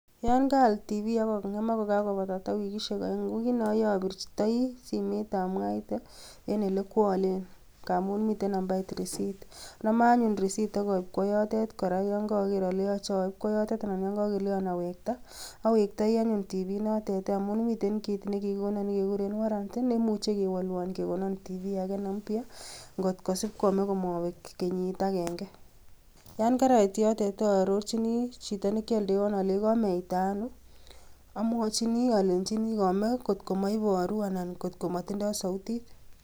Yon kaal TV ako ng'emak ko kakobek kenyisiek oeng, ko kit neoyoe abirtoi simoit amwaite en olekioleen, ngamun mitten nambait risit. Anome anyun risit ak aib koba yoton, yon korogeer ole choche aib kwoyotet, anan ko yon kokeleon awektaa. Awektoi anyuun TV inotet i,amun miten kit nekikonoon nekekuren warranty .Neimuche kewolwon kekonoon tv Ake neleel ngot kosib komee komobeek kenyiit agenge. Yon karait yotet ororchini, chito nekioldewon olenyii kimeita onoo, amwochini olenyini komee TV ,ngot ko moibooru anan kot klmotindoi soutiit.